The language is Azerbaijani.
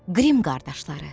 Qrim qardaşları.